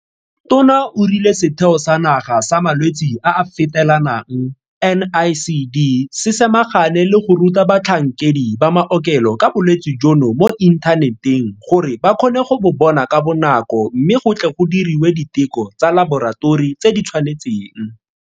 Tona o rile Setheo sa Naga sa Malwetse a a Fetelanang NICD se samagane le go ruta batlhankedi ba maokelo ka bolwetse jono mo inthaneteng gore ba kgone go bo bona ka bonako mme go tle go diriwe diteko tsa laboratori tse di tshwanetseng.